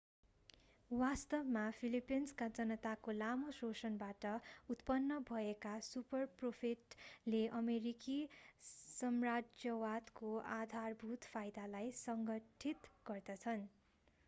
वास्तवमा फिलिपिन्सका जनताको लामो शोषणबाट उत्पन्न भएका सुपरप्रोफिटले अमेरिकी साम्राज्यवादको आधारभूत फाइदालाई संघटित गर्छन्